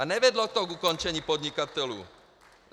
A nevedlo to k ukončení podnikatelů.